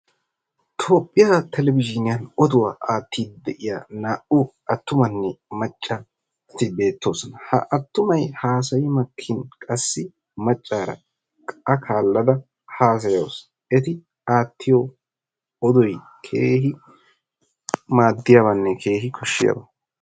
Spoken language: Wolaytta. Toophphiyaa televizhiniyaan oduwaa attiidi de'iyaa naa"u attumanne maaccageti beettoosona. Ha attumay haasayi maakin qaasi maccaara a kaalada hasayayawusu. Eti aattiyo oodoy keehi maaddiyaabanne keehi kooshshiyaaba.